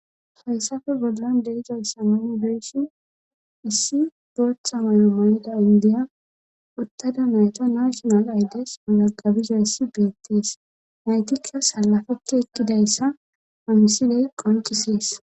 Hayssafe bollan deizayssa nuni be'shin issi bootha mayo mayida indiya uttada nayta nashinal aydes mazagabizayssi beettees naytikka salafeti ekkidayssa amisiley qoncisees